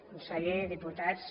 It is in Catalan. conseller diputats